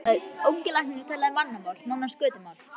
Ungi læknirinn talaði mannamál, nánast götumál.